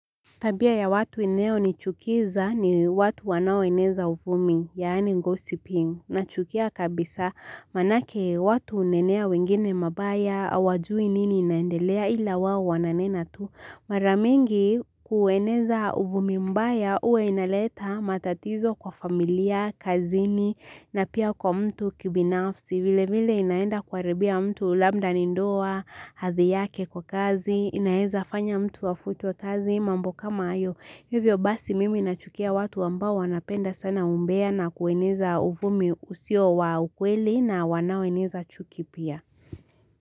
Tabia ya watu inayo nichukiza ni watu wanaoeneza uvumi, yaani gossiping, nachukia kabisa manake watu hunenea wengine mabaya, hawajui nini inaendelea ila wao wananena tu. Mara mingi kueneza uvumi mbaya huwa inaleta matatizo kwa familia, kazini na pia kwa mtu kibinafsi vile vile inaenda kuaribia mtu labda ni ndoa, hadhi yake kwa kazi, inaeza fanya mtu afutwe kazi, mambo kama hayo hivyo basi mimi nachukia watu ambao wanapenda sana umbea na kueneza uvumi usio wa ukweli na wanaoeneza chuki pia.